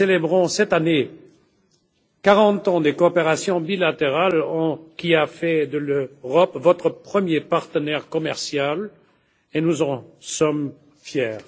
Nous célébrons cette année les 40 ans d'une coopération bilatérale qui a fait de l'Europe votre premier partenaire commercial, et nous en sommes fiers.